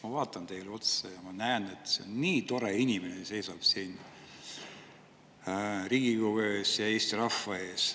Ma vaatan teile otsa ja ma näen, et see on nii tore inimene, kes seisab siin Riigikogu ees ja Eesti rahva ees.